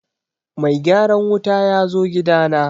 mai gyaran wuta yazo gida na